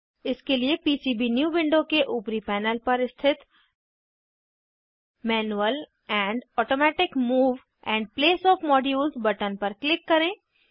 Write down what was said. इसके लिए PCB new window के ऊपरी पैनल पर स्थित manual and automatic move and place O F modules button पर क्लिक करें